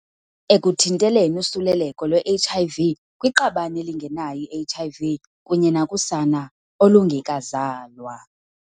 ekuthinteleni usuleleko lwe-HIV kwiqabane elingenayo i-HIV kunye nakusana olungekazalwa.